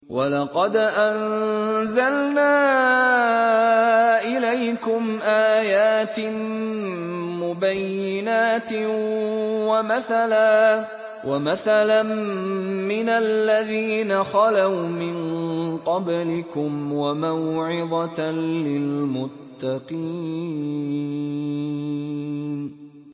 وَلَقَدْ أَنزَلْنَا إِلَيْكُمْ آيَاتٍ مُّبَيِّنَاتٍ وَمَثَلًا مِّنَ الَّذِينَ خَلَوْا مِن قَبْلِكُمْ وَمَوْعِظَةً لِّلْمُتَّقِينَ